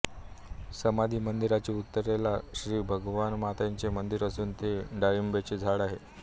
समाधी मंदिराच्या उत्तरेला श्री भवानीमातेचे मंदिर असून तेथे डाळींबीचे झाड आहे